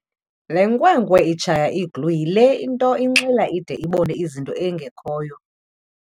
Le nkwenkwe itshaye iglu yile nto inxila ide ibone izinto ezingekhoyo.